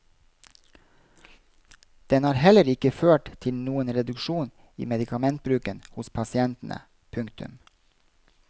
Den har heller ikke ført til noen reduksjon i medikamentbruken hos pasientene. punktum